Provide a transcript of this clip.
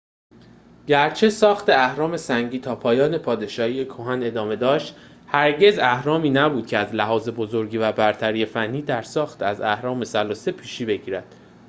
گرچه ساخت اهرام سنگی تا پایان پادشاهی کهن ادامه داشت هرگز اهرامی نبود که از لحاظ بزرگی و برتری فنی در ساخت از اهرام ثلاثه پیشی بگیرد